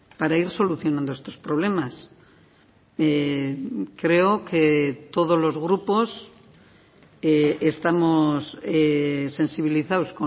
para ir solucionando estos problemas creo que todos los grupos estamos sensibilizados